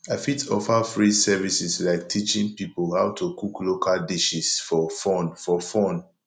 i fit offer free services like teaching people how to cook local dishes for fun for fun